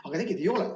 Aga tegelikult ei ole.